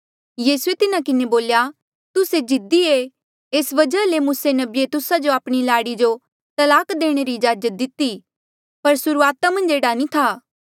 यीसूए तिन्हा किन्हें बोल्या तुस्से जिद्दी ऐ एस वजहा ले मूसे नबिये तुस्सा जो आपणी लाड़ी जो तलाक देणे रा इज्जाजत दिती पर सुर्हूआता मन्झ एह्ड़ा नी था